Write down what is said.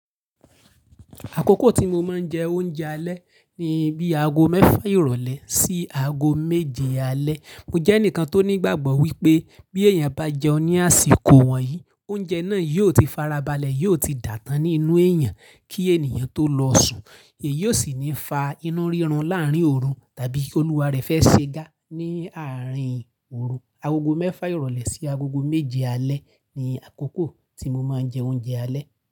Àkókò tí mo máa ń jẹ oúnjẹ alẹ́ ni bíi aago mẹ́fà ìrọ̀lẹ́ sí aago méje alẹ́. Mo jẹ́ ẹnìkan tó ní ìgbàgbọ́ wípé bí èèyàn bá jẹun ní àsìkò wọ̀nyí, oúnjẹ náà yóò ti fara balẹ̀, yóò ti dà tán nínú èèyàn kí ènìyàn tó lọ sùn, èyí ò sì ní fa inú rírun láárín ooru tàbí ki Olúwa rẹ̀ fẹ́ ṣe ga ní àárín ooru. Agogo mẹ́fà ìrọ̀lẹ́ sí agogo méje alẹ́ ni àkókò tí mo máa ń jẹ oúnjẹ alẹ́.